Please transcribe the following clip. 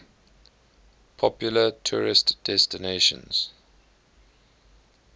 popular tourist destinations